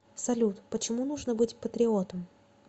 салют почему нужно быть патриотом